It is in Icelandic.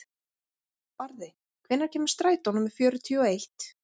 Barði, hvenær kemur strætó númer fjörutíu og eitt?